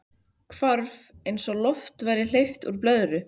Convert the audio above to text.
Hvarf eins og lofti væri hleypt úr blöðru.